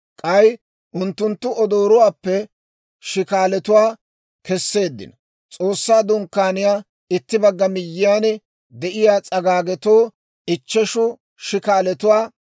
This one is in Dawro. K'ay unttunttu odoorotuwaappe shikaalatuwaa kesseeddino; S'oossaa Dunkkaaniyaw itti bagga miyyiyaan de'iyaa s'agaagetoo ichcheshu shikaalatuwaa,